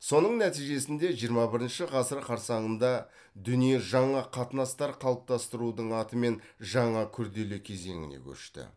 соның нәтижесінде жиырма бірінші ғасыр қарсаңында дүние жаңа қатынастар қалыптастырудың атымен жаңа күрделі кезеңіне көшті